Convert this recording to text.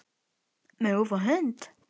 Megum við fá hund?